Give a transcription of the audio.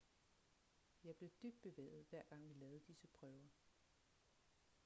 jeg blev dybt bevæget hver gang vi lavede disse prøver